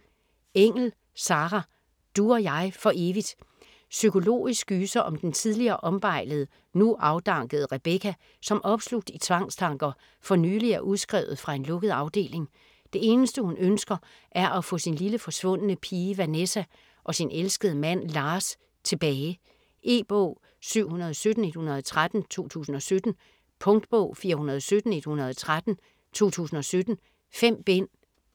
Engell, Sarah: Du og jeg for evigt Psykologisk gyser om den tidligere ombejlede, nu afdankede Rebecca, som opslugt i tvangstanker, for nylig er udskrevet fra en lukket afdeling. Det eneste hun ønsker er at få sin lille forsvundne pige Vanessa, og sin elskede mand Lars tilbage. E-bog 717113 2017. Punktbog 417113 2017. 5 bind.